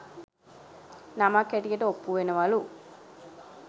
නමක් හැටියට ඔප්පු වෙනවලු